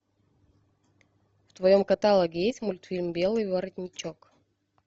в твоем каталоге есть мультфильм белый воротничок